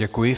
Děkuji.